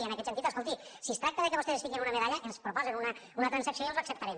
i en aquest sentit escolti si es tracta que vostès es fiquin una medalla ens proposen una transacció i els l’acceptarem